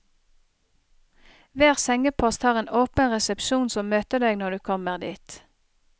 Hver sengepost har en åpen resepsjon som møter deg når du kommer dit.